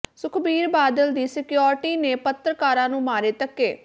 ਸੁਖਬੀਰ ਬਾਦਲ ਦੀ ਸਕਿਓਰਟੀ ਨੇ ਪੱਤਰਕਾਰਾਂ ਨੂੰ ਮਾਰੇ ਧੱਕੇ